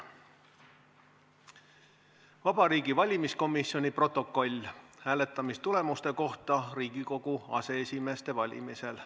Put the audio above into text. "Vabariigi Valimiskomisjoni protokoll hääletamistulemuste kohta Riigikogu aseesimeeste valimisel.